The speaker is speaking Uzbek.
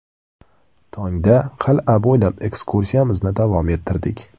Tongda qal’a bo‘ylab ekskursiyamizni davom ettirdik.